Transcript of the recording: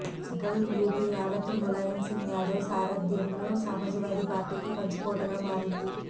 central UP యావత్తు ములాయం సింగ్ యాదవ్ సారథ్యంలో Samajwadi పార్టీకి కంచుకోటగా మారింది